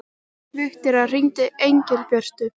Viktoría, hringdu í Engilbjörtu.